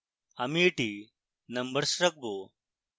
আমি এটি numbers রাখবো